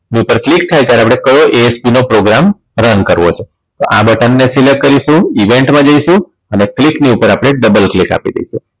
ઉપર click થાય ત્યારે આપણે કયો ASP નો programme run કરવો છે તો આ button ને select કરીશું event માં જઈશું અને click ની ઉપર આપણે double click આપી દઈશું